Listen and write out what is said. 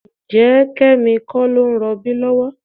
Ǹjẹ́ Kẹ́mi kọ́ ló ń rọbí lọ́wọ́?